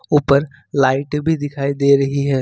ऊपर लाइटे भी दिखाई दे रही है।